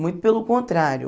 Muito pelo contrário.